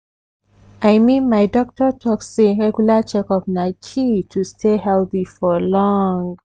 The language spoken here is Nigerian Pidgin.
i mean my doctor talk say regular checkup na key to stay healthy for long.